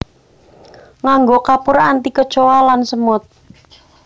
Nganggo kapur anti kecoa lan semut